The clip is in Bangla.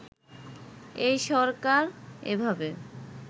এই সরকার এভাবে